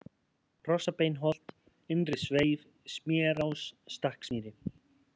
Hrossabeinsholt, Innri-Sveif, Smérás, Stakksmýri